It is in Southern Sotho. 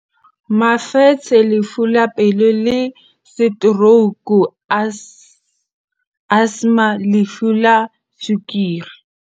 Mefetshe lefu la pelo le setorouku asthma lefu la tswekere.